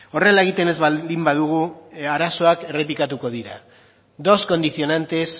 horrela egiten ez baldin badugu arazoak errepikatuko dira dos condicionantes